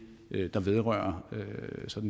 der vedrører